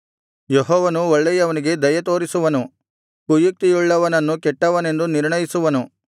ಯೆಹೋವನು ಒಳ್ಳೆಯವನಿಗೆ ದಯೆತೋರಿಸುವನು ಕುಯುಕ್ತಿಯುಳ್ಳವನನ್ನು ಕೆಟ್ಟವನೆಂದು ನಿರ್ಣಯಿಸುವನು